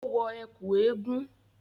Ó wọ ẹ̀kú eégún